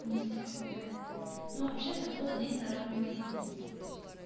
мистика какая-то ну вообще-то было день народного единства